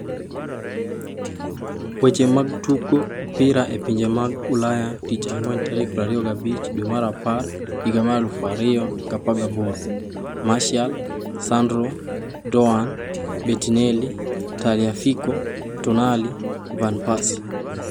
Weche mag Tugo Opira e Pinje mag Ulaya Tich Ang'wen tarik 25.10.2018: Martial, Sandro, Doan, Bettinelli, Tagliafico, Tonali, Van Persie